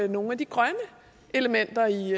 nogle af de grønne elementer i